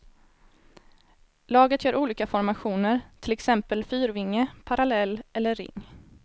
Laget gör olika formationer, till exempel fyrvinge, parallell eller ring.